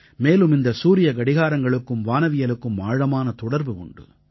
மேலும் இந்த சூரியக் கடியாரங்களுக்கும் வானவியலுக்கும் ஆழமான தொடர்பு உண்டு